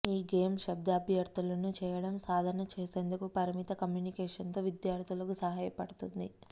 ఈ గేమ్ శబ్ద అభ్యర్థనలను చేయడం సాధన చేసేందుకు పరిమిత కమ్యూనికేషన్తో విద్యార్థులకు సహాయపడుతుంది